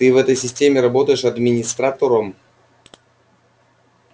ты в этой системе работаешь администратором